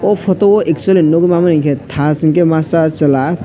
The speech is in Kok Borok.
obo photo o actually nugui manmani hinkhe thash hinkhe masa chwla.